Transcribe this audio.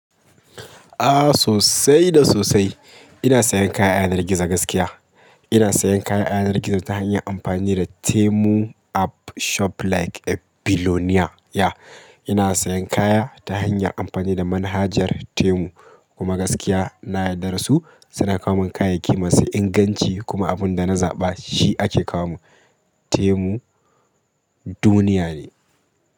Ah sosai da sosai. Ina sayan kaya a yanar gizo gaskiya. Ina sayan kaya a yanar gizo ta hanyar amfani da Temu app shop like a bilionia. Ya. Ina sayan kaya ta hanyar amfani da manhajar Temu kuma gaskiya na yarda da su. Suna kawo min kayayyaki masu inganci kuma abin da na zaɓa shi ake kawo mun. Temu duniya ne.